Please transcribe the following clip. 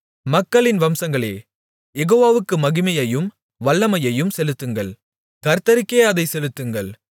மக்களின் வம்சங்களே யெகோவாவுக்கு மகிமையையும் வல்லமையையும் செலுத்துங்கள் கர்த்தருக்கே அதை செலுத்துங்கள்